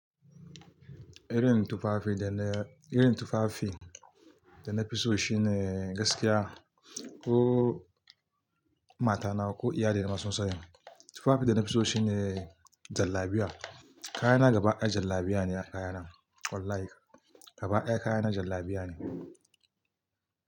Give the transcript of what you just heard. Irin tufafi da na, irin tufafi da na fi so shine gaskiya ko mata nawa ko iyali na masun sani. Tufafi da na fi so shine jallabiya. Kaya na gaba ɗaya jallabiya ne kaya na. Wallahi gaba ɗaya kaya na jallabiya ne.